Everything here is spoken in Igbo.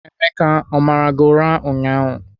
Emeka o mara gị ụra ụnyahụ?